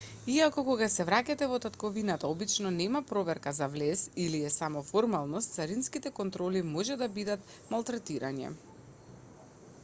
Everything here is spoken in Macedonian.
иако кога се враќате во татковината обично нема проверка за влез или е само формалност царинските контроли можат да бидат малтретирање